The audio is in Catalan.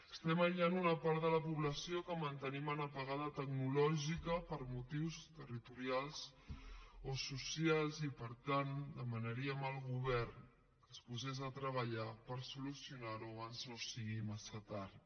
estem aïllant una part de la població que mantenim en apagada tecnològica per motius territorials o socials i per tant demanaríem al govern que es posés a treballar per solucionarho abans no sigui massa tard